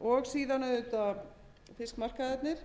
og síðan auðvitað fiskmarkaðirnir